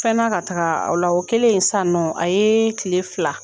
Fɛna ka taga aw la o kelen san nɔ a ye kile fila